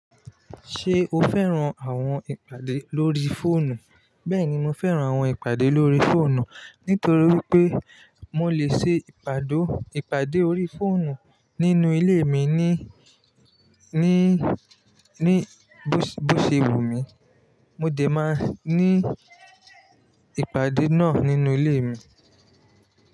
Ṣé o fẹ́ran àwọn ìpàdé lórí fóònù? Bẹ́ẹ̀ni, mo fẹ́ran àwọn ìpàdé lórí fóònù nítorí pé mo lè ṣe ìpàdé lórí fóònù nínú ilé mi ní, ní, ní bó, bó ṣe wù mí. Mo de máa ní ìpàdé náà nínú ilé mi.